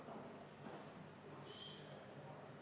Hea peaminister!